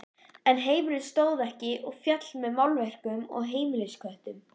Þessi gleðilega þróun hefur átt sér hliðstæðu hérlendis.